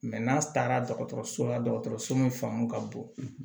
n'a taara dɔgɔtɔrɔso la dɔgɔtɔrɔso min fanga ka bon